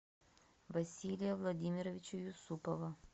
василия владимировича юсупова